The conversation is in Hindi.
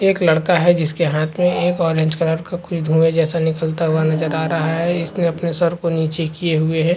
एक लड़का है जिस के हाथ में एक ऑरेंज कलर का कुछ धुआँ जैसा निकलता हुआ नजर आ रहा है इस ने अपने सर को नीचे किये हुए हैं।